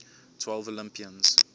twelve olympians